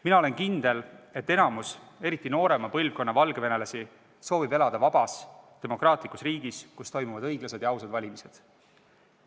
Mina olen kindel, et enamik eriti noorema põlvkonna valgevenelasi soovib elada vabas demokraatlikus riigis, kus toimuksid õiglased ja ausad valimised.